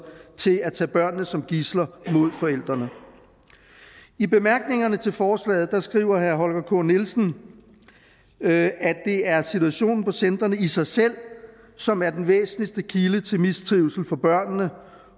til at tage børnene som gidsler mod forældrene i bemærkningerne til forslaget skriver herre holger k nielsen at det er situationen på centrene i sig selv som er den væsentligste kilde til mistrivsel for børnene